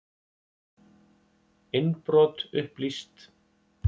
Innbrot upplýst